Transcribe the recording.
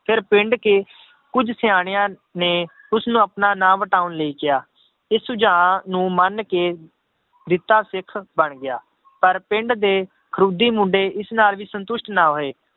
ਫਿਰ ਪਿੰਡ ਕੇ ਕੁੱਝ ਸਿਆਣਿਆਂ ਨੇ ਉਸਨੂੰ ਆਪਣਾ ਨਾਂ ਵਟਾਉਣ ਲਈ ਕਿਹਾ, ਇਹ ਸੁਝਾਅ ਨੂੰ ਮੰਨ ਕੇ ਜਿੱਤਾ ਸਿੱਖ ਬਣ ਗਿਆ ਪਰ ਪਿੰਡ ਦੇ ਖਰੁੱਡੀ ਮੁੰਡੇ ਇਸ ਨਾਲ ਵੀ ਸੰਤੁਸ਼ਟ ਨਾ ਹੋਏ